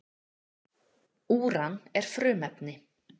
Úran er frumefni.